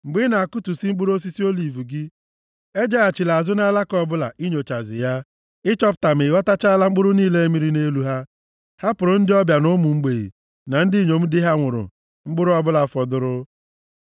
Mgbe ị na-akụtusi mkpụrụ osisi oliv gị, ejeghachila azụ nʼalaka ọbụla inyochazi ya, ịchọpụta ma ị ghọtachaala mkpụrụ niile mịrị nʼelu ha. Hapụrụ ndị ọbịa na ụmụ mgbei, na ndị inyom di ha nwụrụ mkpụrụ ọbụla fọdụrụ.